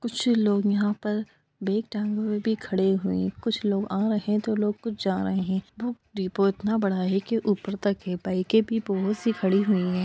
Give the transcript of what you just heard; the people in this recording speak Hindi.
कुछ लोग यहाँ पर बैग टांगे हुए भी खड़े हुए हैं। कुछ लोग आ रहे हैं तो लोग कुछ जा रहे हैं। बुक डिपो उतना बड़ा है कि ऊपर तक है। बाइकें भी बहोत सी खड़ी हुई हैं।